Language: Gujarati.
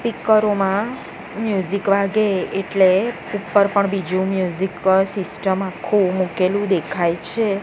સ્પીકરો મા મ્યુઝિક વાગે એટલે ઉપર પણ બીજુ મ્યુઝિક સિસ્ટમ આખુ મૂકેલું દેખાય છે.